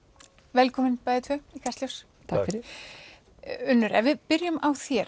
velkomin bæði tvö í Kastljós Unnur ef við byrjum á þér